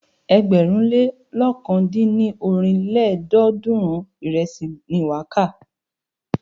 Ẹgbẹ̀rún lé lọ̀kan dín ní ọ́rin lélọ́ọ̀dúnrún ìrẹsì ni wà á kà.